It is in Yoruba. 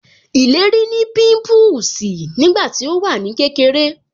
Ìlérí ní pimpusi nígbà tí ó wà ní kékeré